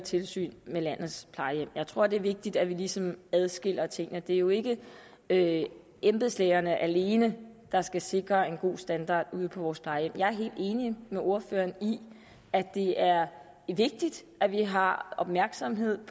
tilsyn med landets plejehjem jeg tror at det er vigtigt at vi ligesom adskiller tingene det er jo ikke ikke embedslægerne alene der skal sikre en god standard ude på vores plejehjem jeg er helt enig med ordføreren i at det er vigtigt at vi har opmærksomheden